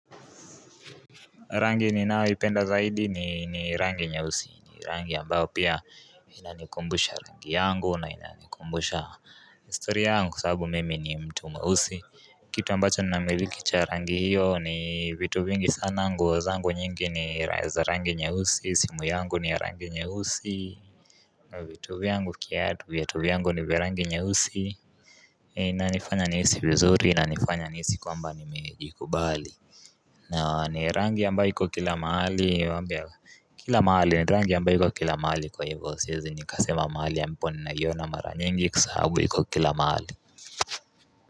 Rangi ninao ipenda zaidi ni rangi nyeusi ni rangi ambao pia inanikumbusha rangi yangu na inanikumbusha historya yangu kwa sababu mimi ni mtu mausi Kitu ambacho na miliki cha rangi hiyo ni vitu vingi sana nguo zangu nyingi ni za rangi nyeusi simu yangu ni rangi nyeusi na vitu vyangu viatu vyangu ni vya rangi nyeusi na nifanya nihisi vizuri inaifanya nihisi kwamba nimejikubali nao ni rangi ambayo iko kila mahali wambia kila mahali rangi ambayo iko kila mahali kwa hivo siwezi ni kasema mahali ya mponna iona mara nyingi kwa sababu iko kila mahali.